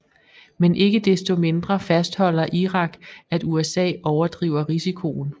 Men ikke desto mindre fastholder Irak at USA overdriver risikoen